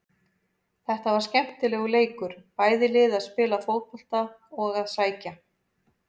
Þetta var skemmtilegur leikur, bæði lið að spila fótbolta og að sækja.